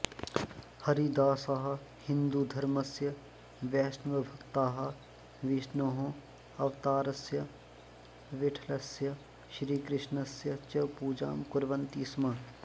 हरिदासाः हिन्दुधर्मस्य वैष्णवभक्ताः विष्णोः अवतारस्य विठ्ठलस्य श्रीकृष्णस्य च पूजां कुर्वन्ति स्म